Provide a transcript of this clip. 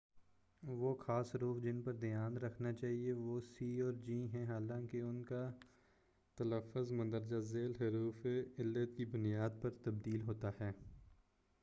وہ خاص حروف جن پر دھیان رکھنا چاہئے وہ سی اور جی ہیں حالانکہ ان کا تلّفظ مندرجہ ذیل حروف علت کی بنیاد پر تبدیل ہوتا ہے